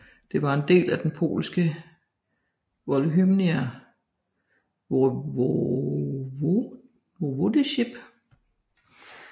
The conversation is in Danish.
Den var en del af det polske Volhynian Voivodeship